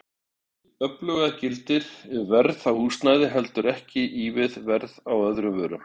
Hið öfuga gildir ef verð á húsnæði heldur ekki í við verð á öðrum vörum.